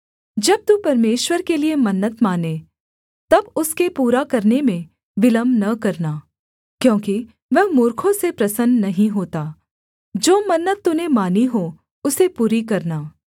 जब तू परमेश्वर के लिये मन्नत माने तब उसके पूरा करने में विलम्ब न करना क्योंकि वह मूर्खों से प्रसन्न नहीं होता जो मन्नत तूने मानी हो उसे पूरी करना